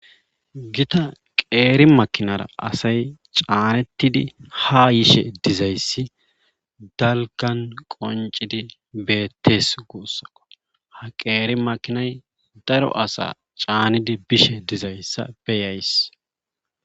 Gita qeeri makinara asay caanettidi ha yishe dizayssi dalkan qoncidi beettes guussako ha qeeri makinay daro asa caanidi bishe dizayssa beyays